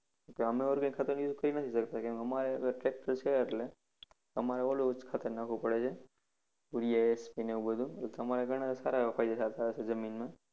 અમે organic જેવું કરી નથી શકતા અમારે tractor છે. એટલે અમારે ઓલુજ ખાતર નાખવું પડે છે. urea ને એવુ બધુ તો તમારે ઘણા સારા એવા ફાયદા થતા હશે જમીનમાં.